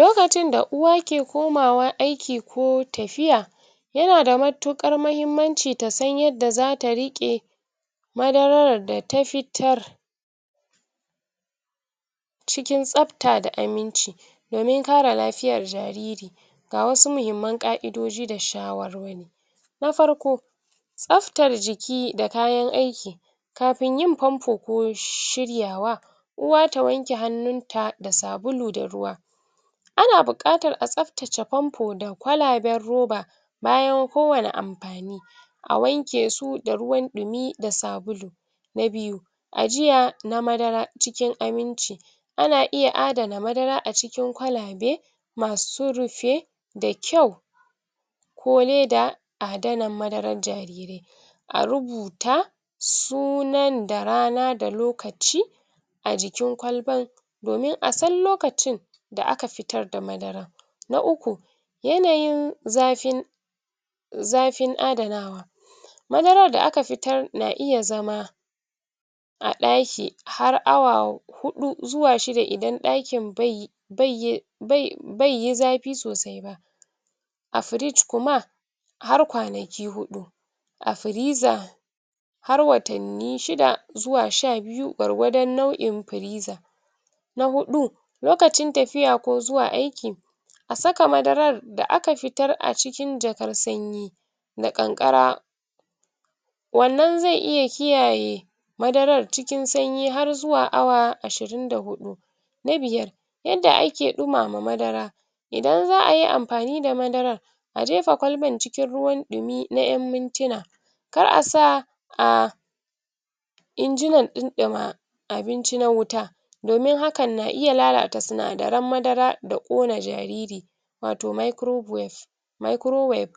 lokacin da uwa ki komawa aiki ko tafiya yanada matuƙar mahimmanci tasan yada zata riƙe madarar da ta fitar cikin tsafta da aminci domin kare lafiyan jariri gawasu mahimman ƙaidoji da shawar wari na farko tsaftar jiki da kayan aiki kafin yin fanfo ko shiryawa uwa ta wanke hanuta da sabulu da ruwa ana buƙatar a tsaftace fanfo da kwalaban roba bayan kowani anfani awanke su da ruwan ɗumi da sabulu na biyu ajiya na madara cikin aminci ana iya adana madara acikin kwalabai masu rufe da kyau ko leda adanan madaran yarirai a rubuta sunan da rana da lokaci ajikin kwalban komin asan lokacin da aka fitarda madara na uku yanayin zaffin zafin adanawa madarar da aka fitar a ɗaki har awa huɗu zuwa shida idan ɗakin bai um baiyi zafi sosai ba a firiji kuma har kwanaki huɗu a firiza har watanni shida zuwa shabiyu gwargwadan nau'in firiza na huɗu lokacin tafiya ko zuwa aiki asaka madarar da akafitar acikin jakar sanyi na kankara wannan zai iya kiyaye madarar cikin sanyi harzu awa ashirin da huɗu na biyar yanda aki ɗumama madara idan za'ayi anfani da madaran ajefa kwalba cikin ruwan ɗumi na'in muntina kar asa a injina ɗunɗuma abinci na wuta domin hakan na iya lalata sinadaran madara da ƙona jariri wato micro wave micro wave